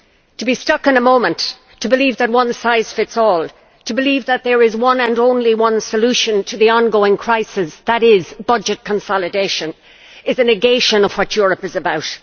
To be stuck in a moment, to believe that one size fits all, to believe that there is one and only one solution to the on going crisis, that is budget consolidation, that is a negation of what Europe is about.